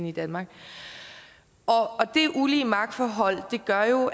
i danmark det ulige magtforhold gav